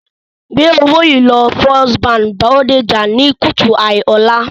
Gbé owó yìí lọ First Bank Bodija ní kùtù hàì ọ̀la